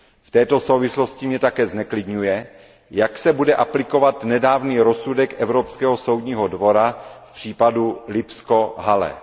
V této souvislosti mě také zneklidňuje, jak se bude aplikovat nedávný rozsudek Evropského soudního dvora v případě letiště Lipsko Halle.